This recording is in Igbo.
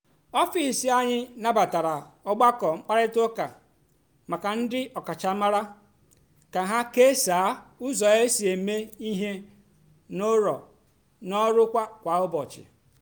ọfịs anyị nabatara ọgbakọ mkparịta ụka maka ndị ọkachamara ka ha kesaa ụzọ e si eme ihe n’ọrụ kwa ụbọchị.